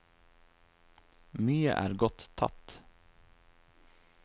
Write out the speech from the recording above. Mye er gått tapt.